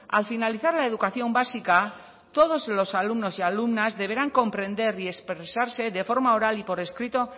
al finalizar la educación básica todos los alumnos y alumnas deberán comprender y expresarse de forma oral y por escrito